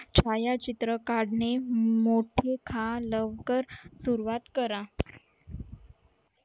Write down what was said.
छाया चित्र काढणे लवकर सुरुवात करा